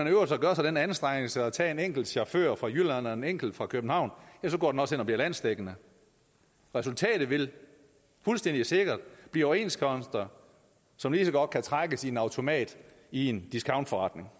øvrigt gør sig den anstrengelse at tage en enkelt chauffør fra jylland og en enkelt fra københavn ja så går den også hen og bliver landsdækkende resultatet vil fuldstændig sikkert blive overenskomster som lige så godt kan trækkes i en automat i en discountforretning